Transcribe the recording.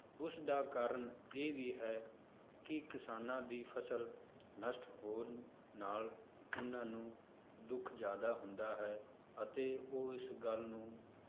ਉਸਦਾ ਕਾਰਨ ਇਹ ਵੀ ਹੈ ਕਿ ਕਿਸਾਨਾਂ ਦੀ ਫਸਲ ਨਸ਼ਟ ਹੋਣ ਨਾਲ ਉਹਨਾਂ ਨੂੰ ਦੁੱਖ ਜ਼ਿਆਦਾ ਹੁੰਦਾ ਹੈ ਅਤੇ ਉਹ ਇਸ ਗੱਲ ਨੂੰ